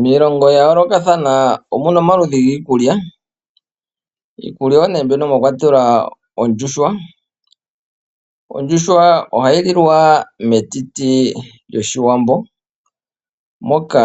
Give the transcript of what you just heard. Miilongo ya yoolokathana omuna omaludhi giikulya, iikulya oyo nee mbyono mwakwatelwa ondjuhwa, oha yi lilwa metiti lyoshiwambo, mo ka